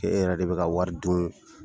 E yɛrɛ de bɛ ka wari dun